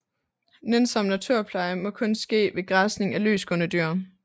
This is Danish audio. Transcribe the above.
Nænsom naturpleje må kun ske ved græsning af løsgående dyr